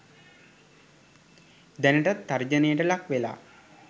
දැනටත් තර්ජනයට ලක් වෙලා